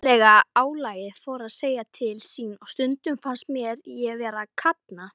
Andlega álagið fór að segja til sín og stundum fannst mér ég vera að kafna.